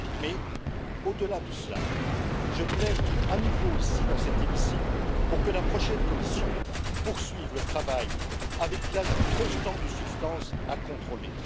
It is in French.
Mais, au delà de cela, je plaide à nouveau ici dans cet hémicycle pour que la prochaine Commission poursuive le travail avec l'ajout constant de substances à contrôler.